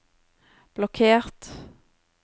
blokkert